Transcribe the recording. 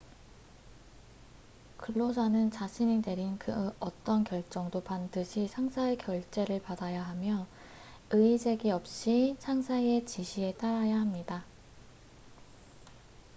근로자는 자신이 내린 그 어떤 결정도 반드시 상사의 결재를 받아야 하며 이의 제기 없이 상사의 지시에 따라야 합니다